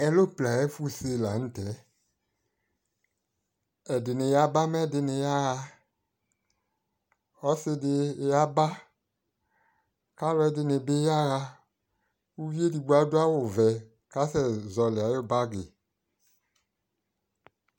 Ɛropla ayʊ ɛfuse lanʊtɛ ɛdɩnɩ yaba mɛ ɛdɩnɩ yaɣa ɔsɩdɩ yaba alʊɛdɩnɩ bɩ yaɣa kʊ edigbo adʊ awʊvɛ kʊ asɛ zɔlɩ ayʊ bagi